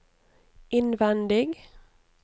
innvendig